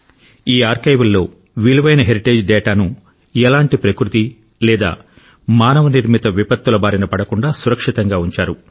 ఈ ఆర్కైవ్లో విలువైన హెరిటేజ్ డేటాను ఎలాంటి ప్రకృతి లేదా మానవ నిర్మిత విపత్తుల బారిన పడకుండా సురక్షితంగా ఉంచారు